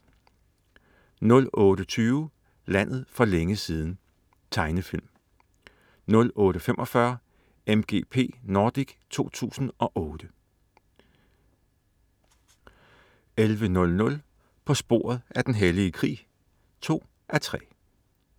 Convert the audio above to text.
08.20 Landet for længe siden. Tegnefilm 08.45 MGP Nordic 2008* 11.00 På sporet af den hellige krig 2:3*